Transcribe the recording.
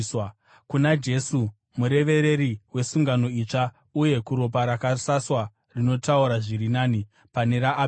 kuna Jesu murevereri wesungano itsva, uye kuropa rakasaswa rinotaura zviri nani pane raAbheri.